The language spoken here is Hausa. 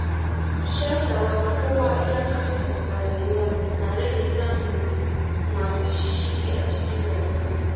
Shatawa kowa iyakarsa a rayuwa na rage samun masu shishshigi a cikin rayuwarsa.